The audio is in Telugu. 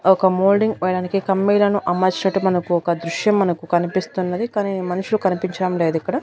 ఒక మోల్డింగ్ పొయ్యడానికి కమ్మీలను అమర్చడం మనకు ఒక దృశ్యం మనకు కనిపిస్తున్నది కానీ మనుషులు కనిపించడం లేదు ఇక్కడ.